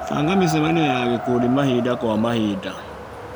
Banga micemanio ya gĩkundi mahinda kwa mahinda.